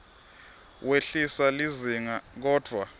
wehlisa lizinga kodvwa